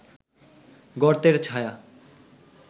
গর্তের ছায়া